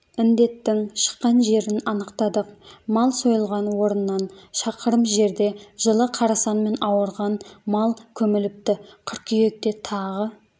індеттің шыққан жерін анықтадық мал сойылған орыннан шақырым жерде жылы қарасанмен ауырған мал көміліпті қыркүйекте тағы